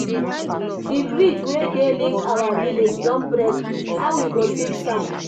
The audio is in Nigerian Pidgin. Di bridge wey dey link our village don break, how we go fix am?